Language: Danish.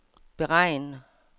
beregn